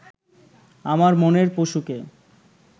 আমার মনের পশুকে